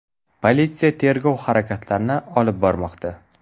Politsiya tergov harakatlarini olib bormoqda.